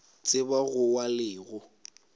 tseba go wa le go